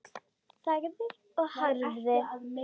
Þagði og horfði.